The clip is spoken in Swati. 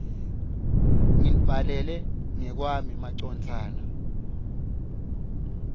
nginibhalela ngekwami macondzana